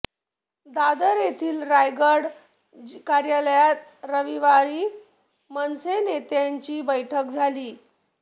दादर येथील राजगड कार्यालयात रविवारी मनसे नेत्यांची बैठक झाली